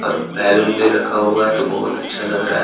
Balloon भी रखा हुआ हैं तो बहुत अच्छा लग रहा हैं।